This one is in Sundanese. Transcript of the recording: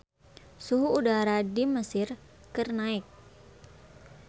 Suhu udara di Mesir keur naek